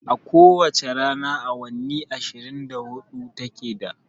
A ko wace rana awanni ashirin da hudu ta ke da